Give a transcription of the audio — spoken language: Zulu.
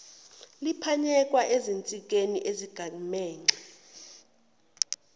liphanyekwe ezinsikeni ezigamegxe